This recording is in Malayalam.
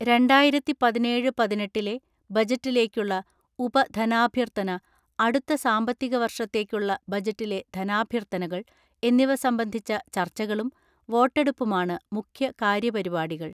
രണ്ടായിരത്തിപതിനേഴ് പതിനെട്ടിലെ ബജറ്റിലേക്കുള്ള ഉപധനാഭ്യർത്ഥന, അടുത്ത സാമ്പത്തിക വർഷത്തേക്കുള്ള ബജറ്റിലെ ധനാഭ്യർനകൾ എന്നിവ സംബന്ധിച്ച ചർച്ചകളും വോട്ടെടുപ്പുമാണ് മുഖ്യകാര്യപരിപാടികൾ.